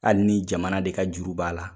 Hali ni jamana de ka juru b'a la.